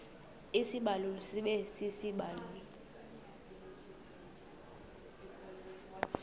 isibaluli sibe sisibaluli